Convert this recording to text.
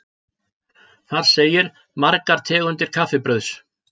Þar segir: Margar tegundir kaffibrauðs.